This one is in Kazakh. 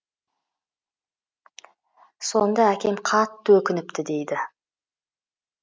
сонда әкем қатты өкініпті дейді